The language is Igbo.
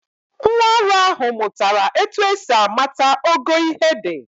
Nwaọrụ ahụ mụtara etu esi amata ogo ihe dị.